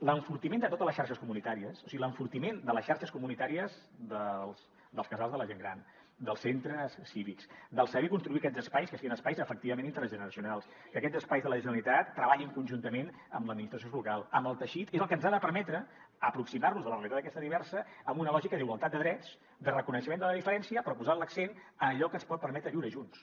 l’enfortiment de totes les xarxes comunitàries o sigui l’enfortiment de les xarxes comunitàries dels casals de la gent gran dels centres cívics del saber construir aquests espais que siguin espais efectivament intergeneracionals que aquests espais de la generalitat treballin conjuntament amb l’administració local amb el teixit és el que ens ha de permetre aproximar nos a la realitat aquesta diversa amb una lògica d’igualtat de drets de reconeixement de la diferència però posant l’accent en allò que ens pot permetre viure junts